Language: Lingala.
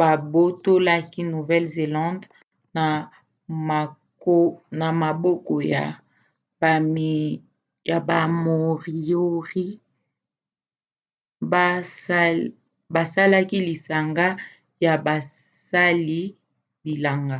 babotolaki nouvelle-zélande na maboko ya ba moriori basalaki lisanga ya basali-bilanga